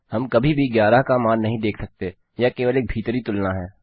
हम कभी भी 11 का मान नहीं देख सकते यह केवल एक भीतरी तुलना है